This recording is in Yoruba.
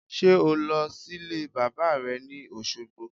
Sé o lọ sílé bàbá re ni Òsogbo?